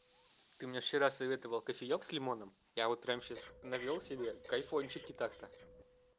ты мне вчера советовал кофеёк с лимоном я вот прямо сейчас налил себе кайфунчик так-то